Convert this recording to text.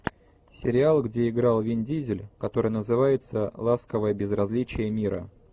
сериал где играл вин дизель который называется ласковое безразличие мира